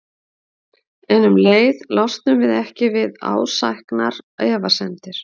En um leið losnum við ekki við ásæknar efasemdir.